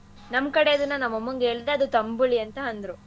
ನಮ್ ಕಡೆ ಅದನ್ನ ನಮ್ಮಮ್ಮಂಗೆ ಹೇಳ್ದೆ ಅದು ತಂಬುಳಿ ಅಂತ ಅಂದ್ರು.